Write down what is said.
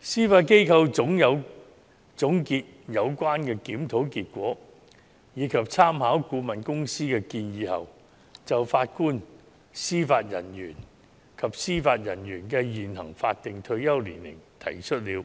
司法機構總結有關檢討結果，以及參考顧問公司的建議後，就法官及司法人員的現行法定退休年齡提出了